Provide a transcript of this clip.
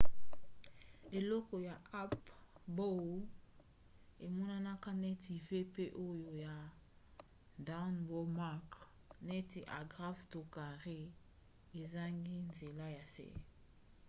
eloko ya up bow emonanaka neti v pe oyo ya down bow mark neti agrafe to carré ezangi nzela ya se